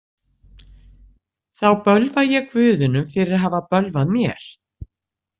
Þá bölva ég guðunum fyrir að hafa bölvað mér.